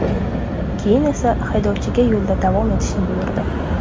Keyin esa haydovchiga yo‘lda davom etishni buyurdi.